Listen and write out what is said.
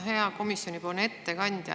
Hea komisjoni ettekandja!